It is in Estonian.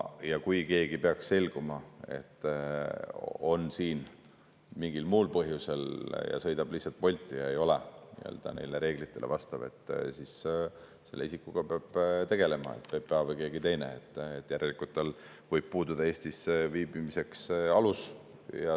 Ja kui peaks selguma, et keegi on siin mingil muul põhjusel ja sõidab lihtsalt Bolti ja ei ole neile reeglitele vastav, siis selle isikuga peab tegelema PPA või keegi teine, sest tal võib puududa alus Eestis viibimiseks.